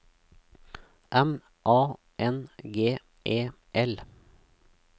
M A N G E L